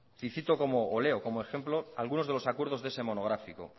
y cito o leo como ejemplo algunos de los acuerdos de ese monográfico